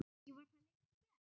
Ekki var það lengi gert.